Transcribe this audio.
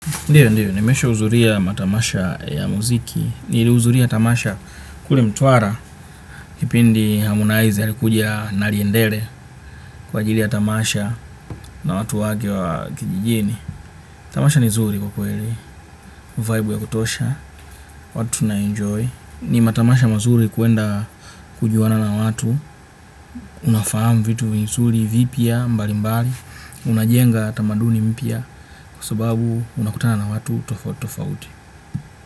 Ndiyo, ndiyo. Nimesha uzuria matamasha ya muziki. Niliuzuria tamasha kule mtwara kipindi hamonazi alikuja na liendele kwa ajili ya tamasha na watu wake wa kijijini. Tamasha ni zuri kwa kweli. Vibe ya kutosha. Watu na enjoy. Ni matamasha mazuri kuenda kujuana na watu. Unafahamu vitu vizuri vipya mbalimbali. Unajenga tamaduni mpya kwa sababu unakutana na watu tofautitofauti.